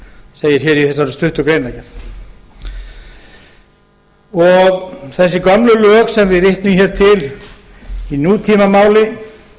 leik segir í þessari stuttu greinargerð þessi gömlu lög sem við vitnum hér til í nútímamáli